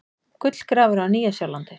Gullgrafari á Nýja-Sjálandi.